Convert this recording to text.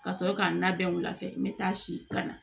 Ka sɔrɔ k'a labɛn wula fɛ n bɛ taa si kana